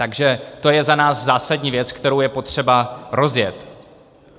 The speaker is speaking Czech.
Takže to je za nás zásadní věc, kterou je potřeba rozjet.